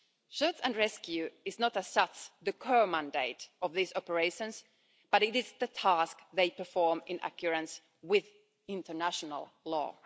Search-and-rescue is not as such the core mandate of these operations, but it is the task they perform in accordance with international